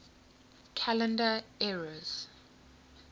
calendar eras